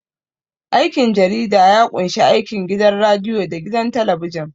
Aikin jarida ya ƙunshi aikin gidan radiyo da gidan talabijin.